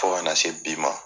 Fo kana se bi ma.